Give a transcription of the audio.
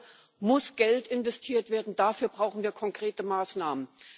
Dafür muss Geld investiert werden, dafür brauchen wir konkrete Maßnahmen.